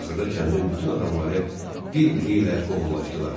Axırda kəndin bütün adamları bir-biri ilə qohumlaşdılar.